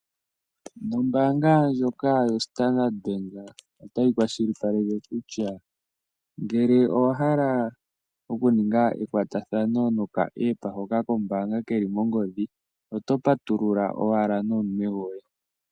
Ombaanga ndjoka yoStandard Bank, otayi kwashilipaleke kutya, ngele owahala okuninga ekwatathano noka App hoka kombaanga keli mongodhi, oto patulula owala nomunwe gwoye.